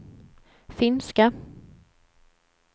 finska